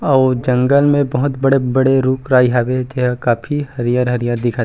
अउ ओ जंगल में बहुत बड़े-बड़े रूख राई हवे तेहा काफी हरियर-हरियर दिखत हे।